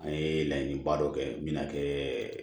An ye laɲiniba dɔ kɛ mina kɛɛ